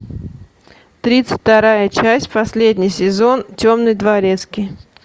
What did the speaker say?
тридцать вторая часть последний сезон темный дворецкий